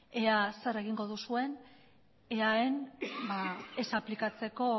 ea zer egingo duzuen eaen ez aplikatzeko